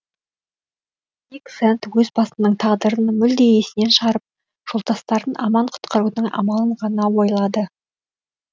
дик сэнд өз басының тағдырын мүлде есінен шығарып жолдастарын аман құтқарудың амалын ғана ойлады